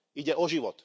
Ide o život.